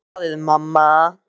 Hann er að lesa blaðið, mamma!